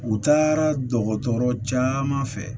U taara dɔgɔtɔrɔ caman fɛ